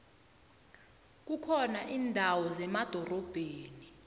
kukhona indawo zemadorobheni